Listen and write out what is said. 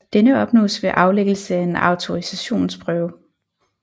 Denne opnås ved aflæggelse af en autorisationsprøve